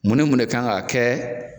Mun ni mun ne kan ka kɛ